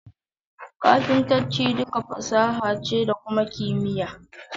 Kafintanci duka fasaha ce da kuma kimiyya.